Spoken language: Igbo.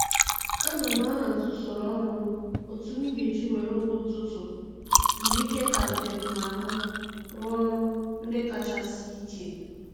Ana m ahazi usoro ọrụ m otu m ga-eji were oge ụtụtụ mgbe ike ka dị m n'ahụ rụọ ọrụ ndị kacha sie ike